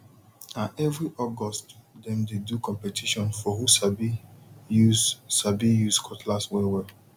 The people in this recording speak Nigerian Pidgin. na every august dem dey do competition for who sabi use sabi use cutlass wellwell